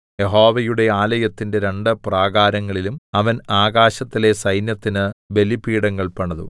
യഹോവയുടെ ആലയത്തിന്റെ രണ്ട് പ്രാകാരങ്ങളിലും അവൻ ആകാശത്തിലെ സൈന്യത്തിന് ബലിപീഠങ്ങൾ പണിതു